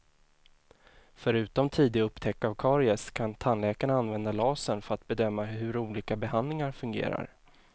Förutom tidig upptäckt av karies kan tandläkarna använda lasern för att bedöma hur olika behandlingar fungerar.